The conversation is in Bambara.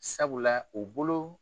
Sabula u bolo